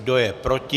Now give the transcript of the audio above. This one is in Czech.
Kdo je proti?